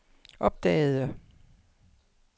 opdagede